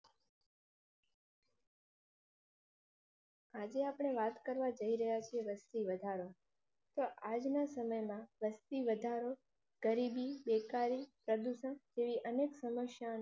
આજે આપણે વાત કરવા જઈ રહ્યાં થી વસ્તી વધારો. આજ ના સમય માં વસ્તી વધારો, ગરીબી બેકારી પ્રદુષણ તે અનેક સમસ્યા નો